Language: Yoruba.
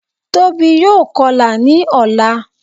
Tóbi yóò kọlà ní ọ̀la